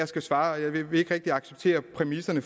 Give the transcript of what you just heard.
skal svare jeg vil ikke rigtig acceptere præmisserne